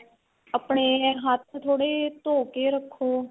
ਆਪਣੇ ਹੱਥ ਥੋੜੇ ਧੋ ਕੇ ਰੱਖੋ